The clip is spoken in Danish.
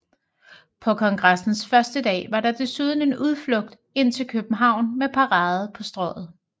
På kongressens første dag var der desuden en udflugt ind til København med parade på Strøget